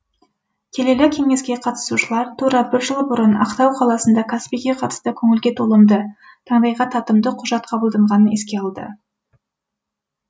келелі кеңеске қатысушылар тура бір жыл бұрын ақтау қаласында каспийге қатысты көңілге толымды таңдайға татымды құжат қабылданғанын еске алды